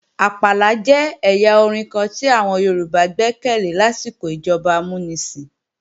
Àpàlà jẹ́ ẹ̀yà orin kan tí àwọn Yorùbá gbékalè lásìkò ìjọba amúnisìn